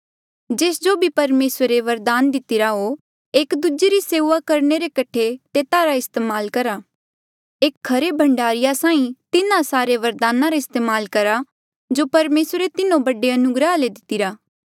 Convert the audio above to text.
जेस जो भी परमेसरे वरदान दितिरा हो एक दूजे री सेऊआ करणे रे कठे तेता रा इस्तेमाल करहा एक खरे भंडारीया साहीं तिन्हा सारे वरदाना रा इस्तेमाल करहा जो परमेसरे तिन्हो बड़े अनुग्रहा ले दितिरा